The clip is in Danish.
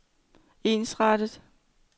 ensrettet